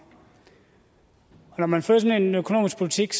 når man fører sådan en økonomisk politik